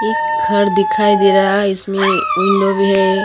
एक घर दिखाई दे रहा है इसमे विंडो भी है।